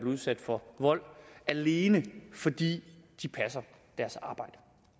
udsat for vold alene fordi de passer deres arbejde